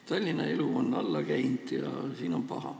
Tallinna elu on alla käinud ja siin on paha.